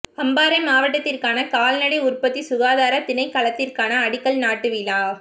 அம்பாறை மாவட்டத்திற்கான கால்நடை உற்பத்தி சுகாதார திணைக்களத்திற்கான அடிக்கல் நாட்டு விழா